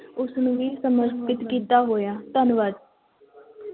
ਉਸਨੂੰ ਹੀ ਸਮਰਪਿਤ ਕੀਤਾ ਹੋਇਆ, ਧੰਨਵਾਦ।